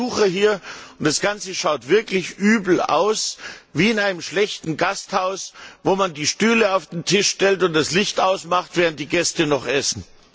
Wir haben Besucher hier, und das Ganze schaut wirklich übel aus, wie in einem schlechten Gasthaus, wo man die Stühle auf den Tisch stellt und das Licht ausmacht, während die Gäste noch essen.